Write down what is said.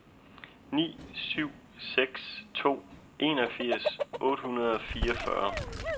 ni syv seks to enogfirs otte hundrede og fireogfyrre